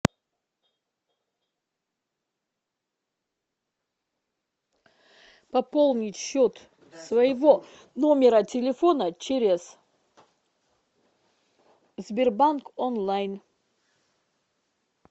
пополнить счет своего номера телефона через сбербанк онлайн